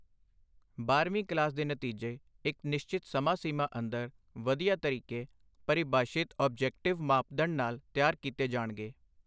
ਬਾਰਵੀਂ ਕਲਾਸ ਦੇ ਨਤੀਜੇ ਇੱਕ ਨਿਸ਼ਚਿਤ ਸਮਾਂ ਸੀਮਾ ਅੰਦਰ ਵਧੀਆ ਤਰੀਕੇ-ਪਰਿਭਾਸ਼ਿਤ ਔਬਜੈਕਟਿਵ ਮਾਪਦੰਡ ਨਾਲ ਤਿਆਰ ਕੀਤੇ ਜਾਣਗੇ